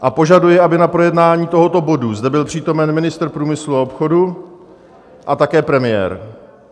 A požaduji, aby na projednání tohoto bodu zde byl přítomen ministr průmyslu a obchodu a také premiér.